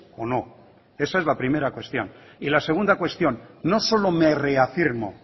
o no esa es la primera cuestión y la segunda cuestión no solo me reafirmo